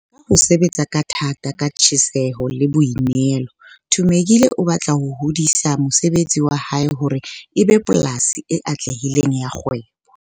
Ka ho sebetsa ka thata, ka tjheseho le boinehelo, Thumekile o batla ho hodisa mosebetsi wa hae hore e be polasi e atlehileng ya kgwebo.